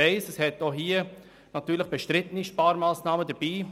Ich weiss, dass es auch hier umstrittene Sparmassnahmen gibt.